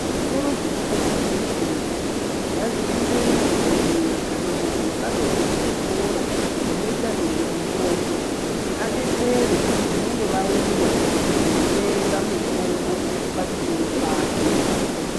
Zvitoro zvinotengese mitombo ngazvive nadhokodheya kana muntu wakatobve kuchikora chinoita nezvemutombo kuti adetsere vanenge vauya kuzotenga mitombo pachitoro pake.